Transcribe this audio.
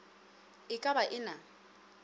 e ka ba e na